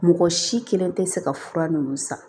Mɔgɔ si kelen tɛ se ka fura ninnu san